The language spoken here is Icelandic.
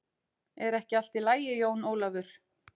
Er ekki allt í lagi Jón Ólafur?